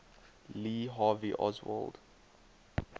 lee harvey oswald